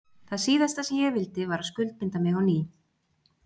Það síðasta sem ég vildi var að skuldbinda mig á ný.